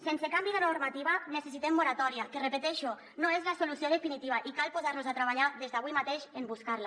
sense canvi de normativa necessitem moratòria que ho repeteixo no és la solució definitiva i cal posar nos a treballar des d’avui mateix en buscar la